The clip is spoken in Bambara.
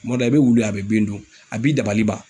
Kuma dɔ la, i bɛ wuli ye, a bɛ bin dun, a b'i dabali ban.